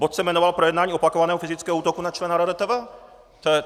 Bod se jmenoval Projednání opakovaného fyzického útoku na člena RRTV.